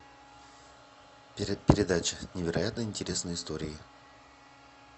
передача невероятно интересные истории